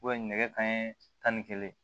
nɛgɛ kanɲɛ tan ni kelen